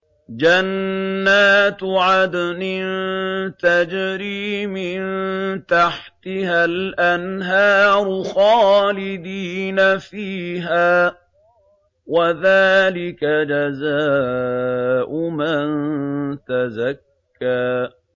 جَنَّاتُ عَدْنٍ تَجْرِي مِن تَحْتِهَا الْأَنْهَارُ خَالِدِينَ فِيهَا ۚ وَذَٰلِكَ جَزَاءُ مَن تَزَكَّىٰ